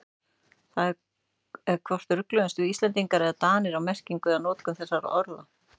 Það er hvort rugluðumst við Íslendingar eða Danir á merkingu eða notkun þessara orða.